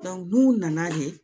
n'u nana de